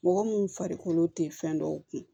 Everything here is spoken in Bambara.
Mɔgɔ mun farikolo te fɛn dɔw kun